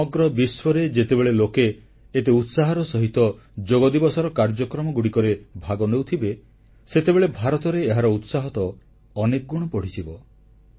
ସମଗ୍ର ବିଶ୍ୱରେ ଯେତେବେଳେ ଲୋକେ ଏତେ ଉତ୍ସାହର ସହିତ ଯୋଗଦିବସର କାର୍ଯ୍ୟକ୍ରମଗୁଡ଼ିକରେ ଭାଗ ନେଉଥିବେ ସେତେବେଳେ ଭାରତରେ ଏହାର ଉତ୍ସାହ ତ ଅନେକ ଗୁଣ ବଢ଼ିଯିବ